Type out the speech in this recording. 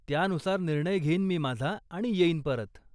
त्यानुसार निर्णय घेईन मी माझा आणि येईन परत.